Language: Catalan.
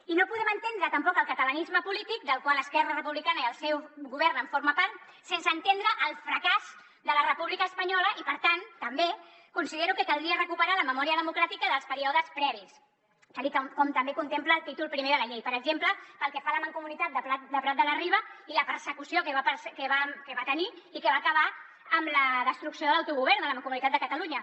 i no podem entendre tampoc el catalanisme polític del qual esquerra republicana i el seu govern forma part sense entendre el fracàs de la república espanyola i per tant també considero que caldria recuperar la memòria democràtica dels períodes previs tal com també contempla el títol primer de la llei per exemple pel que fa a la mancomunitat de prat de la riba i la persecució que va tenir i que va acabar amb la destrucció de l’autogovern de la mancomunitat de catalunya